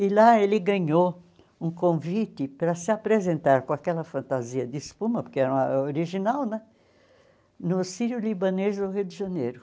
E lá ele ganhou um convite para se apresentar com aquela fantasia de espuma, porque era original né, no Sírio-Libanês do Rio de Janeiro.